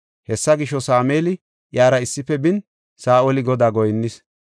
Hessa gisho, Sameeli iyara issife bin, Saa7oli Godaa goyinnis.